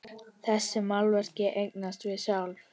Þessi málverk eigast við sjálf.